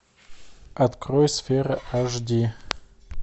открой сфера аш ди